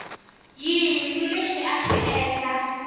yini lexi a xi endla